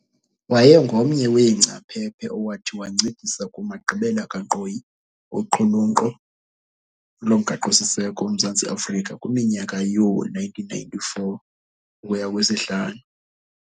Wayengomnye weengcaphephe owathi wancedisa kumagqibela kankqoyi oqhulunkqo lomgaqo siseko loMzantsi Afrika kwiminyaka yoo1994-5.